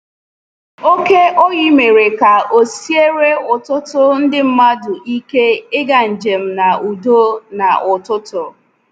Oké oyi mere ka o siere ọtụtụ ndị madu ịke ịga njem n’udo n’ụtụtụ.